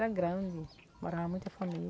Era grande, morava muita família.